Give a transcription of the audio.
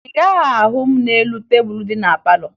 Ị gaghị ahụ m n'elu tebulu dị na palọ